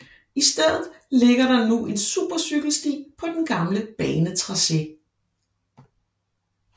I stedet ligger der nu en supercykelsti på den gamle banetracé